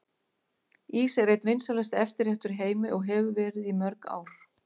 Ís er einn vinsælasti eftirréttur í heimi og hefur verið í mörg ár.